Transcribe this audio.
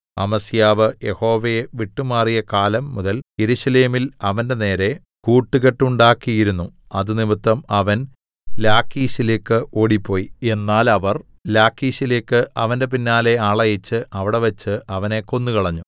അമസ്യാവ് യഹോവയെ വിട്ടുമാറിയ കാലം മുതൽ യെരൂശലേമിൽ അവന്റെനേരെ കൂട്ടുകെട്ടുണ്ടാക്കിയിരുന്നു അതുനിമിത്തം അവൻ ലാഖീശിലേക്ക് ഓടിപ്പോയി എന്നാൽ അവർ ലാഖീശിലേക്ക് അവന്റെ പിന്നാലെ ആളയച്ച് അവിടെവെച്ച് അവനെ കൊന്നുകളഞ്ഞു